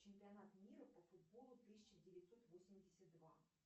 чемпионат мира по футболу тысяча девятьсот восемьдесят два